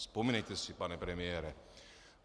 Vzpomínejte si, pane premiére.